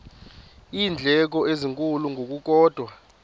iindleko ezinkulu ngokukodwa